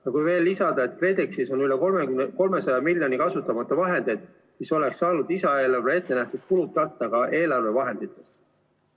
Ja kui veel lisada, et KredExis on üle 300 miljoni euro kasutamata vahendeid, siis oleks saanud lisaeelarves ettenähtud kulud katta ka eelarvevahenditest.